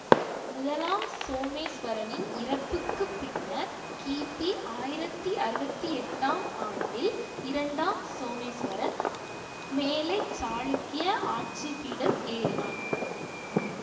முதலாம் சோமேஸ்வரனின் இறப்புக்கு பின்னர் கிபி ஆயிரத்தி அறுபத்தி எட்டாம் ஆண்டில் இரண்டாம் சோமேஸ்வரன் மேலை சாளுக்கிய ஆட்சிபீடம் ஏறினான்